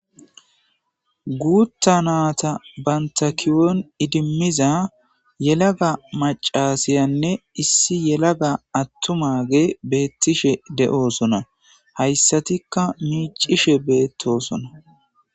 Gutha nata banta kiyon idimiza yelaga macasyanne issi yelaga atumagey betishe de'osona haysatika micishe betosona